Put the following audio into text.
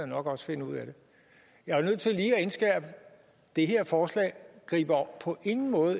nok også finde ud af det jeg er nødt til lige at indskærpe at det her forslag på ingen måde